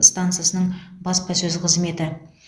стансасының баспасөз қызметі